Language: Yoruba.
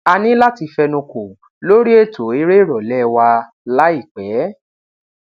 a ni lati fẹnuko lori eto ere irọlẹ wa laipẹ